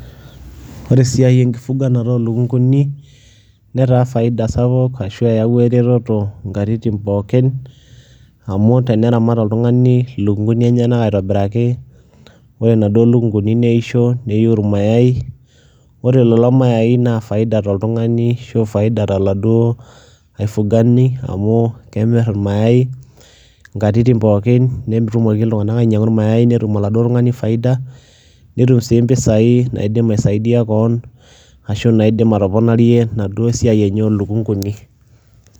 Ore esia enkifuganata olokung'uni netaa faida sapuk ashu eyauwa eretoto nkatitin pookin amu teneramat oltung'ani lukung'uni enyenak aitobiraki, ore naduo lukung'uni neisho neyiu irmayai, ore lelo mayai naa faida toltung'ani ashu faida toladuo aifugani amu kemir irmayai nkatit pookin netumoki iltung'anak ainyang'u irmayai netum oladuo tung'ani faida netum sii mpisai naidim aisaidia koon ashu naidim atoponarie naduo siai enye oo lukung'uni.